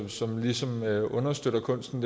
som ligesom understøtter kunsten